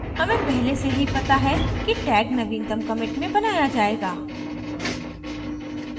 हमें पहले से ही पता है कि tag नवीनतम commit में बनाया जाएगा